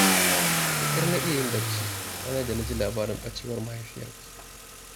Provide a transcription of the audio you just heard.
Da ƙyar na iya bacci ranar da na ji labarin ɓacewar mahaifiyarka